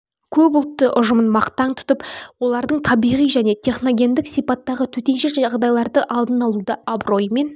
көп ұлтты ұжымын мақтаң тұтып олардың табиғи және техногендік сипаттағы төтенше жедайларды алдын алуда абыроймен